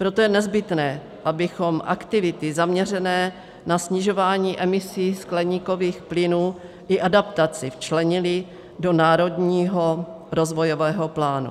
Proto je nezbytné, abychom aktivity zaměřené na snižování emisí skleníkových plynů i adaptaci včlenili do národního rozvojového plánu.